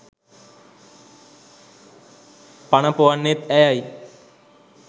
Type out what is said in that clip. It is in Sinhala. පන ‍පොවන්නෙත් ඇයයි.